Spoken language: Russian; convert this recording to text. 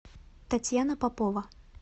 татьяна попова